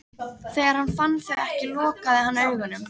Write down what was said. Þegar hann fann þau ekki lokaði hann augunum.